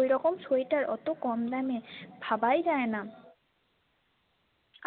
ঐরকম sweatwear ওতো কম দামে ভাবাই যায়না